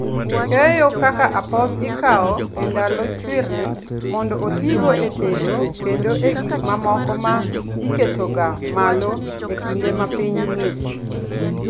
Keyo kaka apoth ikawo e ndalo chwiri mondo otigo e tedo kendo e gik mamoko ma iketoga malo e kinde ma piny ng'ich.